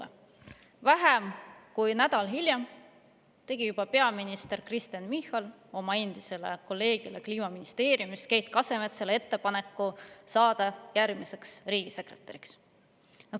Juba vähem kui nädal hiljem tegi peaminister Kristen Michal oma endisele kolleegile Kliimaministeeriumist, Keit Kasemetsale, ettepaneku saada järgmiseks riigisekretäriks.